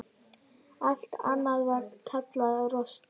Allt annað var kallað rosti.